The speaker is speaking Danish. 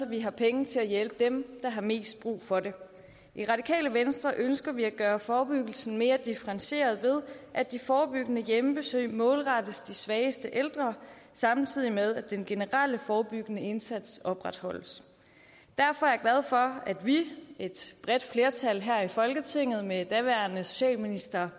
vi har penge til at hjælpe dem der har mest brug for det i radikale venstre ønsker vi at gøre forebyggelsen mere differentieret ved at de forebyggende hjemmebesøg målrettes de svageste ældre samtidig med at den generelle forebyggende indsats opretholdes derfor er for at vi et bredt flertal her i folketinget med daværende socialminister